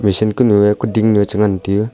machine konyu ye kuding changan tiyu.